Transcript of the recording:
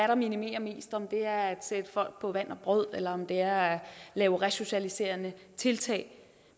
der minimerer mest om det er at sætte folk på vand og brød eller om det er at lave resocialiserende tiltag